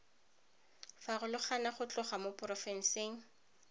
farologana go tloga mo porofenseng